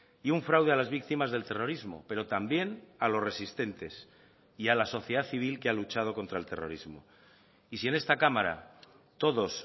y un fraude a las víctimas del terrorismo pero también a los resistentes y a la sociedad civil que ha luchado contra el terrorismo y si en esta cámara todos